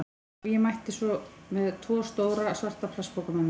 Og ég mætti með tvo stóra, svarta plastpoka með mér.